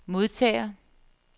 modtager